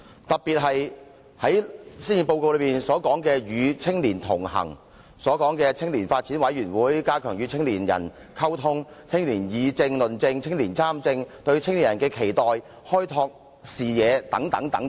特別是施政報告內曾提及與青年同行、青年發展委員會、加強與青年人溝通、青年議政、論政、青年人參政、對青年人的期待、開拓視野等。